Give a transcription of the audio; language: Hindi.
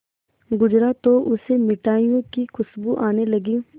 गुजरा तो उसे मिठाइयों की खुशबू आने लगी